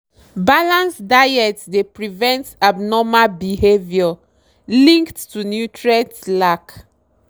balanced diet dey prevent abnormal behavior linked to nutrient lack.